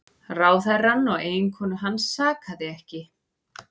Ráðherrann og eiginkonu hans sakaði ekki